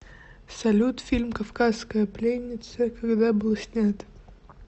салют фильм кавказская пленница когда был снят